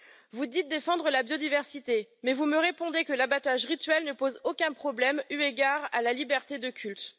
Vous dites défendre la biodiversité, mais vous me répondez que l'abattage rituel ne pose aucun problème, eu égard à la liberté de culte.